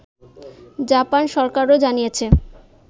Japan সরকারও জানিয়েছে